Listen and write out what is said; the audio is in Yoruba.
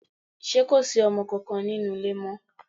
Ṣé kò sí ọmọ kankan nínú ilé mọ́?